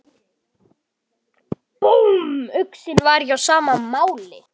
Búmm, uxinn var ekki á sama máli.